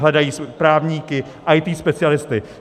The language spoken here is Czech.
Hledají právníky, IT specialisty.